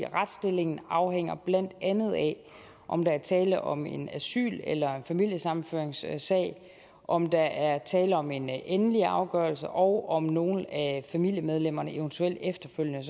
retsstillingen afhænger blandt andet af om der er tale om en asyl eller en familiesammenføringssag om der er tale om en endelig afgørelse og om nogle af familiemedlemmerne eventuelt efterfølgende